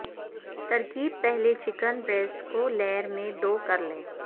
ترکیب پہلے chicken breast کو لیئر میں دو کر لیں